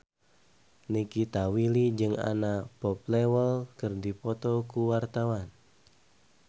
Nikita Willy jeung Anna Popplewell keur dipoto ku wartawan